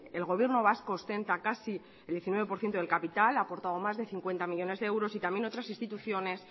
el gobierno vasco ostenta casi el diecinueve por ciento del capital ha aportado más de cincuenta millónes de euros y también otras instituciones